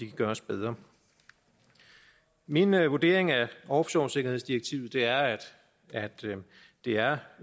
kan gøres bedre min vurdering af offshoresikkerhedsdirektivet er at det er